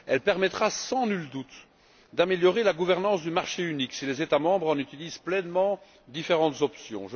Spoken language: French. Elle permettra, sans nul doute, d'améliorer la gouvernance du marché unique si les États membres en utilisent pleinement les différentes options.